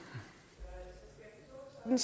den